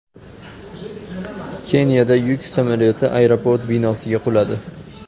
Keniyada yuk samolyoti aeroport binosiga quladi.